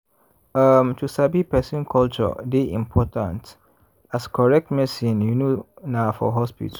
um to sabi person culture dey important as correct medicine you know na for hospital.